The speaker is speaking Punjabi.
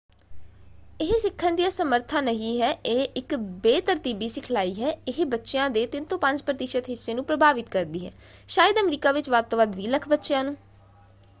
ਇਹ ਸਿੱਖਣ ਦੀ ਅਸਮੱਰਥਾ ਨਹੀਂ ਹੈ ਇਹ ਇੱਕ ਬੇਤਰਤੀਬੀ ਸਿਖਲਾਈ ਹੈ; ਇਹ ਬੱਚਿਆਂ ਦੇ 3 ਤੋਂ 5 ਪ੍ਰਤੀਸ਼ਤ ਹਿੱਸੇ ਨੂੰ ਪ੍ਰਭਾਵਿਤ ਕਰਦੀ ਹੈ ਸ਼ਾਇਦ ਅਮਰੀਕਾ ਵਿੱਚ ਵੱਧ ਤੋਂ ਵੱਧ 20 ਲੱਖ ਬੱਚਿਆਂ ਨੂੰ।